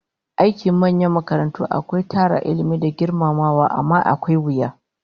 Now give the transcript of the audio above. Aiki a manyan makarantu akwai tara Ilmi da girmamawa, amma akwai wuya